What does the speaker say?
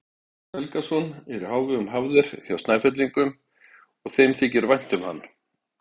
Árni Helgason er í hávegum hafður hjá Snæfellingum og þeim þykir vænt um hann.